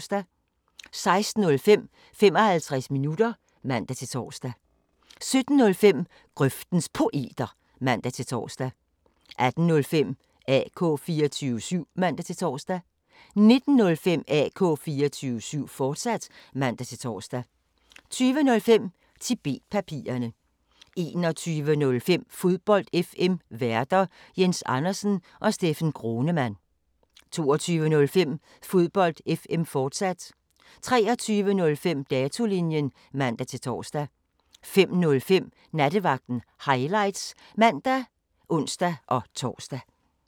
16:05: 55 minutter (man-tor) 17:05: Grøftens Poeter (man-tor) 18:05: AK 24syv (man-tor) 19:05: AK 24syv, fortsat (man-tor) 20:05: Tibet-papirerne 21:05: Fodbold FM Værter: Jens Andersen og Steffen Gronemann 22:05: Fodbold FM, fortsat 23:05: Datolinjen (man-tor) 05:05: Nattevagten Highlights (man og ons-tor)